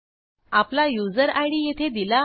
आपला user ID येथे दिला आहे